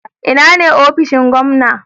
Ina ne ofishin gwamna?